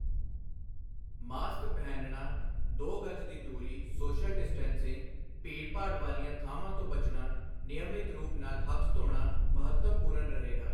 Mask ਪਹਿਨਣਾ, ਦੋ ਗਜ ਦੀ ਦੂਰੀ ਸੋਸ਼ਲ ਡਿਸਟੈਂਸਿੰਗ, ਭੀੜਭਾੜ ਵਾਲੀਆਂ ਥਾਵਾਂ ਤੋਂ ਬਚਣਾ, ਨਿਯਮਿਤ ਰੂਪ ਨਾਲ ਹੱਥ ਧੋਣਾ, ਮਹੱਤਵਪੂਰਨ ਰਹੇਗਾ।